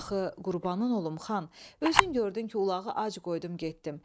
Axı qurbanın olum xan, özün gördün ki, ulağı ac qoydum getdim.